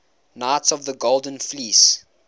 knights of the golden fleece